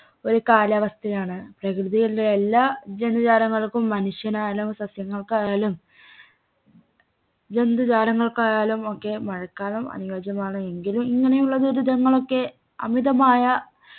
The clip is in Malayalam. ഒരു കാലാവസ്ഥയാണ് പ്രകൃതിയിലുള്ള എല്ലാ ജൈവ ജാലങ്ങൾക്കും മനുഷ്യനായാലും സസ്യങ്ങൾക്കായാലും ജന്തുജാലങ്ങൾക്കായാലും ഒക്കെ മഴക്കാലം അനുയോച്യമാണെങ്കിൽ ഇങ്ങനെയുള്ള ദുരിതങ്ങളൊക്കെ അമിതമായ